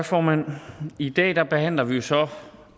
formand i dag behandler vi jo så